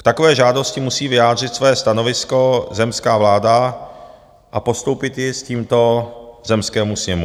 K takové žádosti musí vyjádřit své stanovisko zemská vláda a postoupit ji s tímto zemskému sněmu.